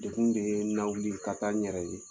Degun de ye lawuli ka taa n yɛrɛ ye